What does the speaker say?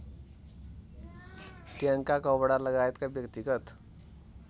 ट्याङ्का कपडालगायतका व्यक्तिगत